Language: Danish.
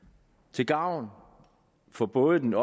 til gavn for både den